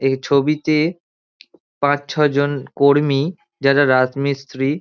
এই ছবিতে পাঁচ ছজন কর্মী যারা রাজমিস্ত্রি--